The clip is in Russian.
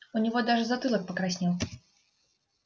у него даже затылок покраснел